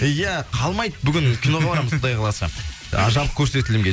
иә қалмайды бүгін киноға барамыз құдай қаласа ы жабық көрсетілімге